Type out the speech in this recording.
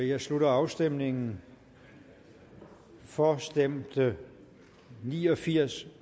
jeg slutter afstemningen for stemte ni og firs